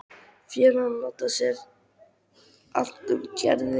Félagarnir láta sér annt um Gerði.